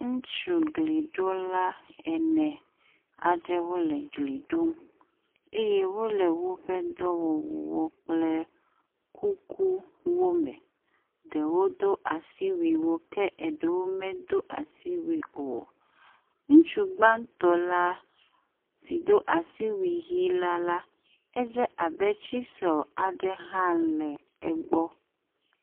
Ŋutsu gliɖola ene aɖewo le gli ɖom eye wole woƒe dɔwɔwuwo kple kukuwo me, ɖewo do asiwuiwo ke ɖewo medo asiwui o. Ŋutsu gbatɔ̃ la si do asiwui ʋɛ̃ la la, edze abe tsisel aɖe hã le egbɔ.